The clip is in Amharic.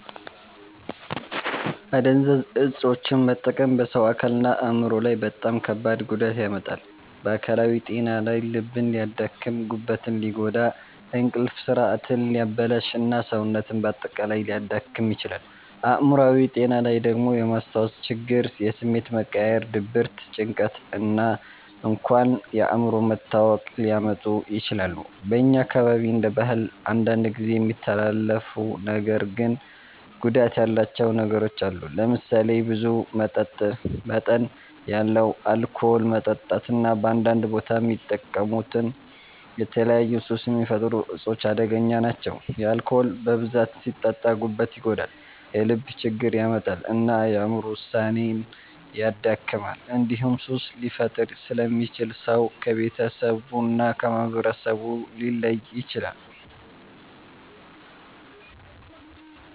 አደንዛዥ እፆችን መጠቀም በሰው አካልና አእምሮ ላይ በጣም ከባድ ጉዳት ያመጣል። በአካላዊ ጤና ላይ ልብን ሊያደክም፣ ጉበትን ሊጎዳ፣ እንቅልፍ ስርዓትን ሊያበላሽ እና ሰውነትን በአጠቃላይ ሊያዳክም ይችላል። አእምሮአዊ ጤና ላይ ደግሞ የማስታወስ ችግር፣ የስሜት መቀያየር፣ ድብርት፣ ጭንቀት እና እንኳን የአእምሮ መታወክ ሊያመጡ ይችላሉ። በእኛ አካባቢ እንደ ባህል አንዳንድ ጊዜ የሚተላለፉ ነገር ግን ጉዳት ያላቸው ነገሮች አሉ። ለምሳሌ ብዙ መጠን ያለው አልኮል መጠጣት እና በአንዳንድ ቦታ የሚጠቀሙት የተለያዩ ሱስ የሚፈጥሩ እፆች አደገኛ ናቸው። አልኮል በብዛት ሲጠጣ ጉበትን ይጎዳል፣ የልብ ችግር ያመጣል እና የአእምሮ ውሳኔን ያደክማል። እንዲሁም ሱስ ሊፈጥር ስለሚችል ሰው ከቤተሰቡ እና ከማህበረሰቡ ሊለይ ይችላል።